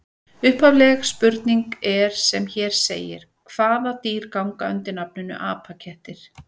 Upphafleg spurning er sem hér segir: Hvaða dýr ganga undir nafninu apakettir?